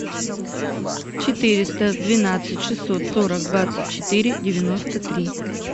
четыреста двенадцать шестьсот сорок двадцать четыре девяносто три